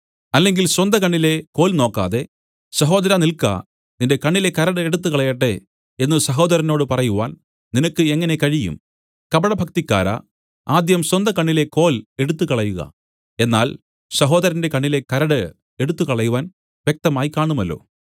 അല്ലെങ്കിൽ സ്വന്തകണ്ണിലെ കോൽ നോക്കാതെ സഹോദരാ നിൽക്ക നിന്റെ കണ്ണിലെ കരട് എടുത്തുകളയട്ടെ എന്നു സഹോദരനോട് പറയുവാൻ നിനക്ക് എങ്ങനെ കഴിയും കപടഭക്തിക്കാരാ ആദ്യം സ്വന്തകണ്ണിലെ കോൽ എടുത്തുകളയുക എന്നാൽ സഹോദരന്റെ കണ്ണിലെ കരട് എടുത്തുകളയുവാൻ വ്യക്തമായി കാണുമല്ലോ